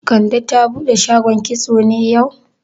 Kande ta bude shagon kitso ne yau?